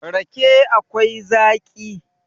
rake akwai Zaki